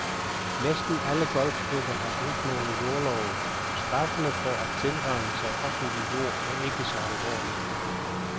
Næsten alle golfklubber har brudt nogle jordlove. Straffene for at tilrane sig offentlig jord er ikke så alvorlig.